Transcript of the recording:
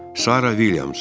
Sara Vilyams.